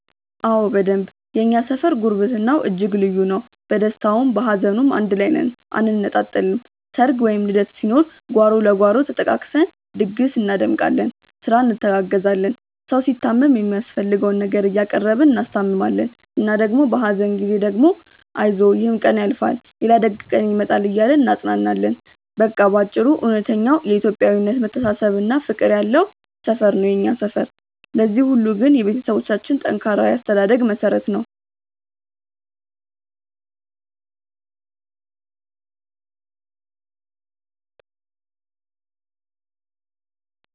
አዎ በደንብ የእኛ ሰፈር ጉርብትናው እጅግ ልዩ ነው። በደስታውም በሀዘኑም አንድ ላይ ነን አንነጣጠልም። ሰርግ ወይም ልደት ሲኖር ጓሮ ለጓሮ ተጠቃቅሰን ድግስ እናደምቃለን፤ ስራ እንተጋገዛለን። ሰው ሲታመም የሚያስፈልገውን ነገር እያቀረብን እናስታምማለን እና ደግሞ በሀዘን ጊዜ ደግሞ አይዞህ ይሕም ቀን ያልፋል ሌላ ደግ ቀን ይመጣል እያልን እናጽናናለን። በቃ በአጭሩ እውነተኛው የኢትዮጵያዊነት መተሳሰብና ፍቅር ያለው ሰፈር ነው የኛ ሰፈር። ለዚህ ሁሉ ግን የቤተሰቦቻችን ጠንካራ የአስተዳደግ መሠረት ነው።